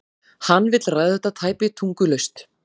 Hann vill ræða þetta tæpitungulaust.